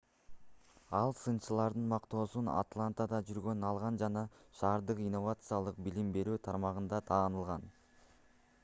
ал сынчылардын мактоосун атлантада жүргөндө алган жана шаардык инновациялык билим берүү тармагында таанылган